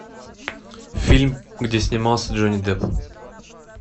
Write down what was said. фильм где снимался джонни депп